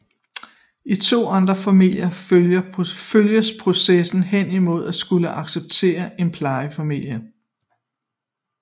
I to andre familier følges processen hen imod at skulle acceptere en plejefamilie